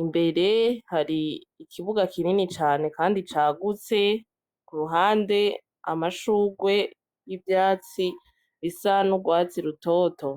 Imbere hari ikibuga kinini cane kandi cagutse, kuruhande amashurwe y'ivyatsi bisa n'urwatsi rutoto.